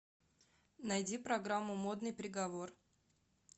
найди программу модный приговор